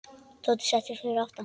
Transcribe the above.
Tóti settist fyrir aftan.